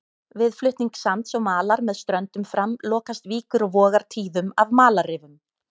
Við flutning sands og malar með ströndum fram lokast víkur og vogar tíðum af malarrifum.